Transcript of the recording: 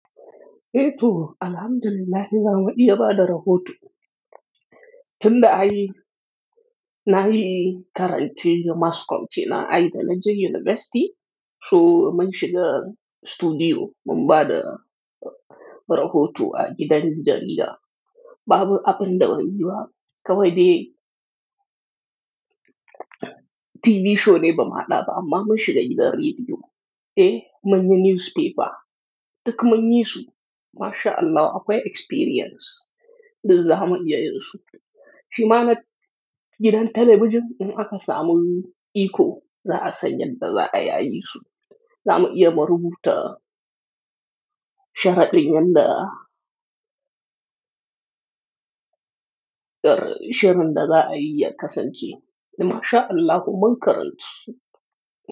Ehh toh alhamdulillahi zamu iyya ba da rahoto. Tinda ayii nayii karance mass com na ay da naje university mun shiga studio mun bada rahoto a gidan jarida. Babu abun da banyi ba kawai dai TV show ne bamaa hada ba amma mun shiga gidan radiyo. Eh, mun yi newspaper. Duk mun yi su masha Allahu akwai experience. Zamu iya yinsu. Shi ma na gidan television in aka samu iiko zaa asanyan da za ayayisu. Zamu iya mu rubuta sharadin yan da shirin da zaa ayi ya kasanche. Masha Allahu mun karantu.